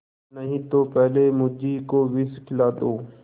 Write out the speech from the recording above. नहीं तो पहले मुझी को विष खिला दो